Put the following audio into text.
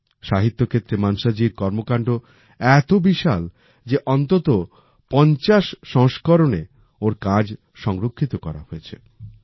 সাহিত্যক্ষেত্রে মানসা জির কর্মকান্ড এত বিশাল যে অন্তত ৫০ সংস্করণে ওনার কাজ সংরক্ষিত করা হয়েছে